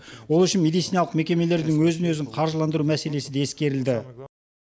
ол үшін медициналық мекемелердің өзін өзі қаржыландыру мәселесі де ескерілді